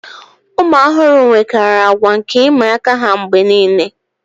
ụmụ ọhụrụ enwekarị àgwà nke ịmị aka ha mgbe nile